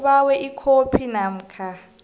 ubawe ikhophi namkha